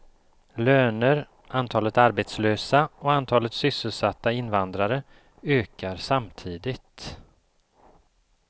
Löner, antalet arbetslösa och antalet sysselsatta invandrare ökar samtidigt.